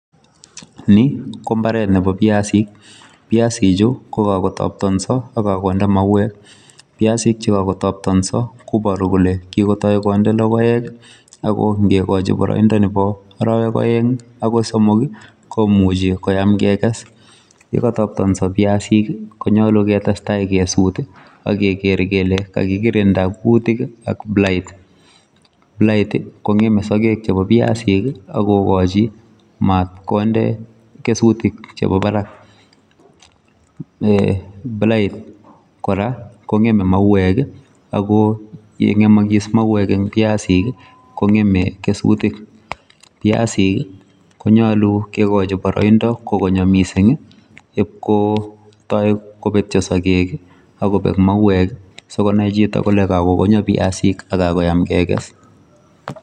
Ni ko imbaret nebo Piasik, Piasik chu kokakotoptonso akonde mauwek Piasik chekakotoptonso koboru kole kakotoi konde lokoek Ako ngekochi boroindo nebo oroek oeng agoi somok komuchei koem Keke's yo katoptonso piasik, konyolu ketestai kesut ak keker kele kakikirinda kutoka blight, blight kongemei sokek chebo Piasik akokochi matkonde kesutik chebo Barak blight kora kongemei mauwek Ako yengemokis mauwek eng Piasik kongemei kesutik Piasik konyolu kekochi boroida kokonyo mising ib kotoi kobetcho sokek kobetyo mauwek sikonai chito kole kakokonyo piasik ako kakoem kekes